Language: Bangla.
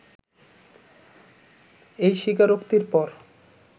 এই স্বীকারোক্তির পর